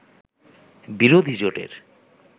বিরোধী জোটের